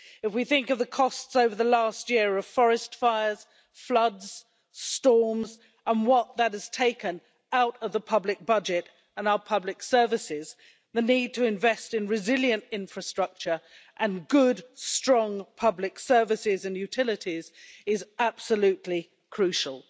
If we think of the costs over the last year of forest fires, floods, storms, et cetera, and what that has taken out of the public budget and our public services, the need to invest in resilient infrastructure and good strong public services and utilities is absolutely crucial.